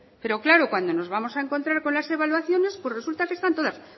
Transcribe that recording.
pero claro cuando nos vamos a encontrar con las evaluaciones pues resulta que nos vamos a encontrar todas